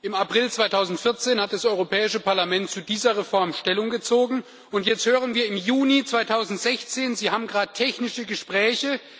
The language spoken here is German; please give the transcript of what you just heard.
Im April 2014 hat das Europäische Parlament zu dieser Reform Stellung bezogen, und jetzt, im Juni 2016, hören wir, Sie haben grad technische Gespräche.